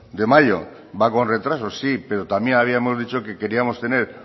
de mayo va con retraso sí pero también habíamos dicho que queríamos tener